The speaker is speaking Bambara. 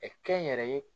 kɛ n yɛrɛ ye